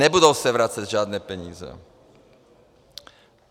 Nebudou se vracet žádné peníze.